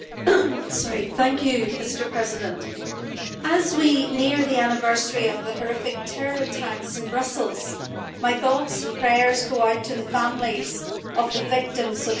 Mr President, as we near the anniversary of the horrific terror attacks in Brussels, my thoughts and prayers go out to the families of the victims of such awful terror.